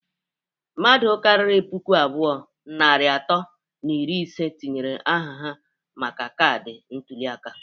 Mmadụ karịrị puku abụọ, narị atọ na iri ise tinyere aha ha maka kaadi ntuli aka..